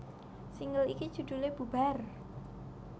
Single iki judhulé Bubar